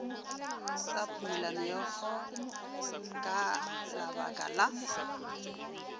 sa phumolameokgo ka labaka la